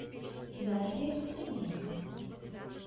дарья литвиненко